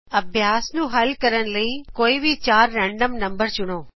ਅਭਿਆਸ ਨੂੰ ਹੱਲ ਕਰਨ ਲਈ ਕੋਈ ਵੀ ਚਾਰ ਰੈਨਡਮ ਨੰਬਰ ਚੁਣੋ